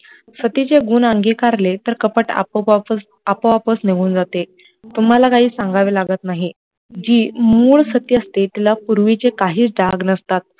सतीचे गुण आंगी कारले तर कपट आपो-आपच निघुन जाते, तुम्हाला काही सांगावे लागत नााहीं, जी मुळ सत्य असते तिला पुर्वी चा काहीच डाग नसतात